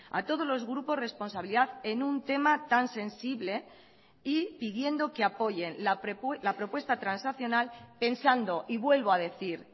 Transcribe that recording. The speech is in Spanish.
a todos los grupos responsabilidad en un tema tan sensible y pidiendo que apoyen la propuesta transaccional pensando y vuelvo a decir